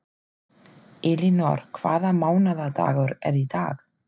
Elínór, hvaða mánaðardagur er í dag?